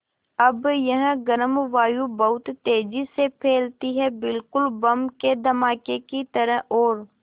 अब यह गर्म वायु बहुत तेज़ी से फैलती है बिल्कुल बम के धमाके की तरह और